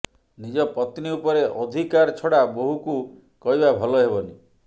ନିଜ ପତ୍ନୀ ଉପରେ ଅଧିକାର ଛଡା ବୋହୁକୁ କହିବା ଭଲ ହେବନି